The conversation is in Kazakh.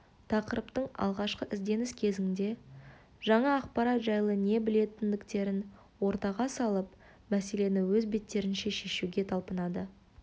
тақырыптың алғашқы ізденіс кезеңінде жаңа ақпарат жайлы не білетіндіктерін ортаға салып мәселені өз беттерінше шешуге талпынады